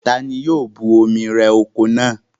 Ta ni yóò bu omi rẹ oko náà?